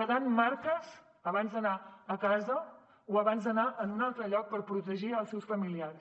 quedant marques abans d’anar a casa o abans d’anar en un altre lloc per protegir els seus familiars